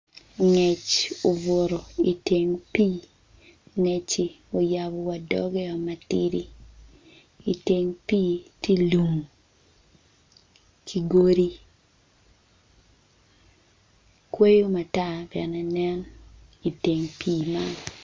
Ngec obutu iteng pii ngecci oyabo wadoggeo matidi iteng pii ti lum ki godi kweyo matar bene nen iteng pii man